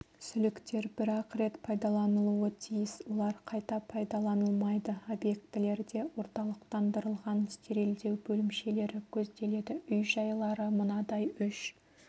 сүліктер бір-ақ рет пайдаланылуы тиіс олар қайта пайдаланылмайды объектілерде орталықтандырылған стерилдеу бөлімшелері көзделеді үй-жайлары мынадай үш